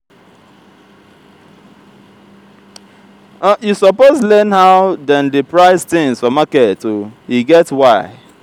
you suppose learn how dem dey price tins for market o e get why.